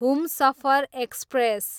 Humsafar express